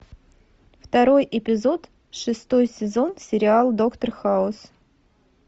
второй эпизод шестой сезон сериал доктор хаус